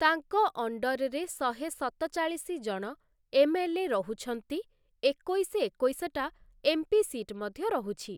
ତାଙ୍କ ଅଣ୍ଡର୍‌ରେ ଶହେ ସତଚାଳିଶି ଜଣ ଏମ୍ଏଲ୍ଏ ରହୁଛନ୍ତି ଏକୋଇଶ ଏକୋଇଶଟା ଏମ୍‌ପି ସିଟ୍‌ ମଧ୍ୟ ରହୁଛି ।